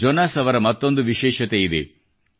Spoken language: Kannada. ಜೊನಾಸ್ ಅವರ ಮತ್ತೊಂದು ವಿಶೇಷತೆಯಿದೆ